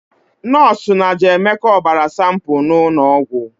Nọọsụ na jee Emeka ọbara sanpu n'ụlọ ọgwụ